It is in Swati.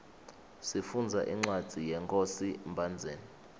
sifundza incwadzi yenkhosi mbhandzeni